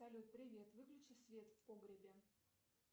салют привет выключи свет в погребе